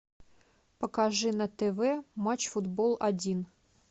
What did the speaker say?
покажи на тв матч футбол один